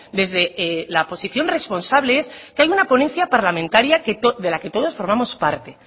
desde la posición responsable es que haya una ponencia parlamentaria de la que todos formamos parte